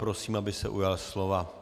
Prosím, aby se ujal slova.